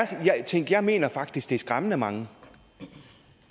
tal tænk jeg mener faktisk det er skræmmende mange